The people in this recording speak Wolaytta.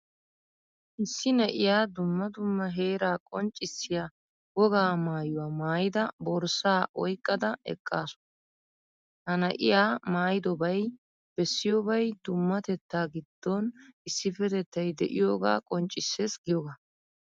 Issi na'iyaa dumma dumma heeraa qonccissiyaa wogaa maayuwaa maayida, borssaa oyqqada eqqaasu. Ha na'iyaa maayidobay bessiyobay dummatettaa giddon issippetettay de'iyoogaa qonccissees giyooga.